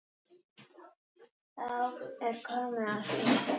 Þá er komið að því!